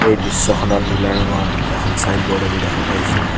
এই দৃশ্যখনত নীলা ৰঙৰ এখন চাইনব'ৰ্ড আমি দেখা পাইছোঁ।